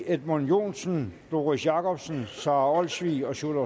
edmund joensen doris jakobsen sara olsvig og sjúrður